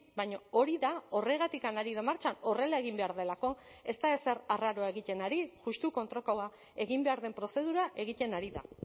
baina hori da horregatik ari da martxan horrela egin behar delako ez da ezer arraroa egiten ari justu kontrakoa egin behar den prozedura egiten ari da